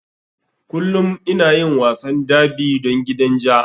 Kullum ina yin wasan derby don gidan ja.